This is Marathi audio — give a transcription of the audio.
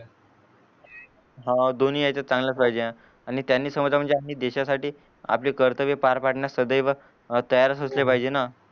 हा दोनी याच्यात चांगलाच पाहिजे आणि त्यांनी समजा म्हणजे आपली देशासाठी आपले कर्तव्य पार पाडण्यास सदैव अर तयारच असले पाहिजे ना